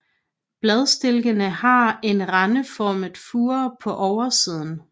Bladstilkene har en rendeformet fure på oversiden